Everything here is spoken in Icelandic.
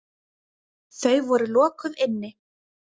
Þau voru lokuð inni.